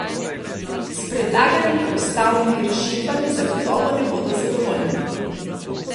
S predlaganimi ustavnimi rešitvami zagotovo ne bodo zadovoljni.